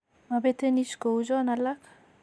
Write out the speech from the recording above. Mabete NICH kou chon alak